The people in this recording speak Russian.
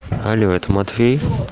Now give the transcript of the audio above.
алло это матвей